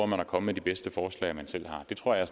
man at komme med de bedste forslag man selv har det tror jeg